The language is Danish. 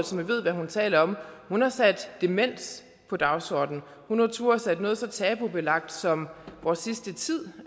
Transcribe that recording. som ved hvad hun taler om hun har sat demens på dagsordenen hun har turdet sætte noget så tabubelagt som vores sidste tid